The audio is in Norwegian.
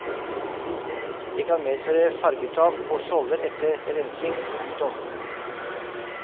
Det kan medføre fargetap og skjolder etter rensing. punktum